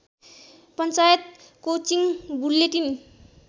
panchayat coaching bulletin